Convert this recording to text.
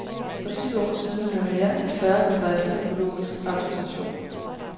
For syv år siden havde mere end fyrre bedrifter økologisk autorisation.